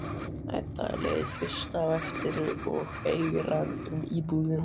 Edda er leið fyrst á eftir og eigrar um íbúðina.